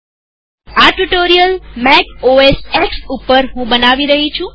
હું આ tutorial Mac OS X ઉપર બનાવી રહી છું